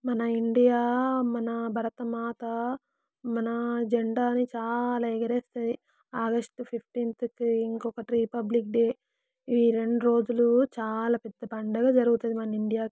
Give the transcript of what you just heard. మన ఇండియా మన భారతమాత మన జెండాని చాలా ఎగరేతది ఆగస్టు ఫిఫ్టీన్ కి ఇంకోట రిపబ్లిక్ డే ఈ రెండు రోజులు చాలా పెద్ద పండగ జరుగుతుంది మన ఇండియా .